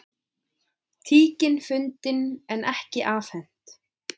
Tíkin fundin en ekki afhent